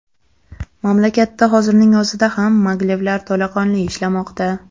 Mamlakatda hozirning o‘zida ham maglevlar to‘laqonli ishlamoqda.